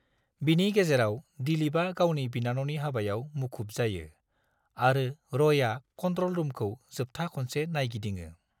बिनि गेजेराव, दिलीपआ गावनि बिनानावनि हाबायाव मुखुब जायो, आरो रयआ कन्ट्र'ल रुमखौ जोबथा खनसे नायगिदिङो।